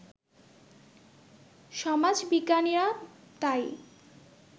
সমাজবিজ্ঞানীরা তাই